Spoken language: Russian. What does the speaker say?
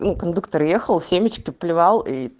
ну кондуктор ехал семечки плевал и